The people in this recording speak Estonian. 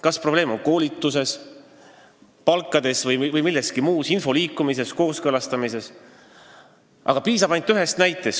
Kas probleem on koolituses, palkades või milleski muus, näiteks info liikumises, kooskõlastamises?